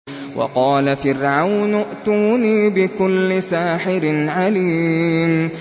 وَقَالَ فِرْعَوْنُ ائْتُونِي بِكُلِّ سَاحِرٍ عَلِيمٍ